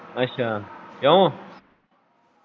ਅੱਛਾ ਕਿਉਂ?